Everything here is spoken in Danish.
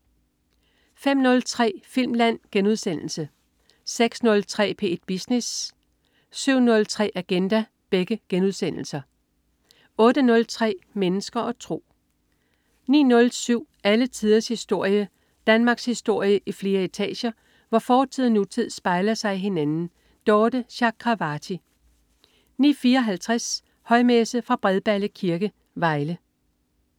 05.03 Filmland* 06.03 P1 Business* 07.03 Agenda* 08.03 Mennesker og tro 09.07 Alle tiders historie. Danmarkshistorie i flere etager, hvor fortid og nutid spejler sig i hinanden. Dorthe Chakravarty 09.54 Højmesse. Fra Bredballe Kirke, Vejle